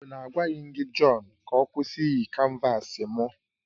Ọ bụ na agwaghị m gị John ka ọ kwụsị iyi canvasi m?